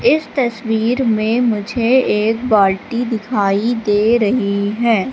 इस तस्वीर में मुझे एक बाल्टी दिखाई दे रही है।